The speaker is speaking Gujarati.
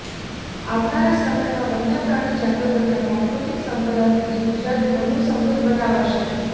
આવનારા સમયમાં વન્યપ્રાણી જાતો તથા પ્રાકૃતિક સંપદા થકી ગુજરાતને વધુ સમૃદ્ધ બનાવાશે